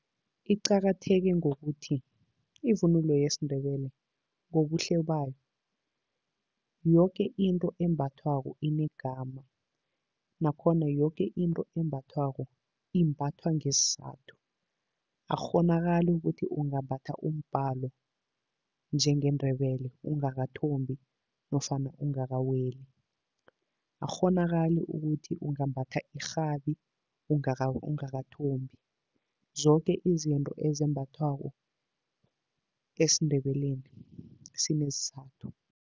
Iqakatheke ngokuthi, ivunulo yesiNdebele ngobuhle bayo, yoke into embathwako inegama nakhona yoke into embathwako imbathwa ngesizathu. Akukghonakali ukuthi ungambhatha umbhalo njengeNdebele ungakathombi nofana ungakaweli. Akukghonakali ukuthi ungambhatha irhabi ungakathombi. Zoke izinto ezembathwako esiNdebeleni sinesizathu.